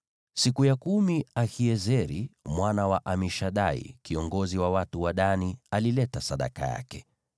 Siku ya kumi Ahiezeri mwana wa Amishadai, kiongozi wa watu wa Dani, alileta sadaka yake.